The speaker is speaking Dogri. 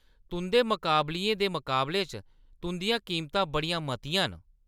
तुंʼदे मकाबलियें दे मकाबले च तुंʼदियां कीमतां बड़ियां मतियां न।